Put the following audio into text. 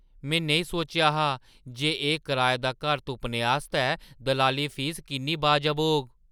में नेईं सोचेआ हा जे एह् कराए दा घर तुप्पने आस्तै दलाली फीस किन्नी वाजब होग!